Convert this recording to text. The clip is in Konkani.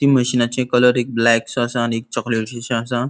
ती मशिनाचे कलर एक ब्लॅकसो असा आणि एक चोकलेटशे असा.